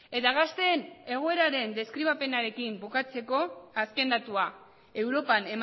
eta gazteen egoeraren deskribapenarekin bukatzeko azken datua europan